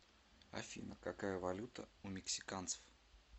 афина какая валюта у мексиканцев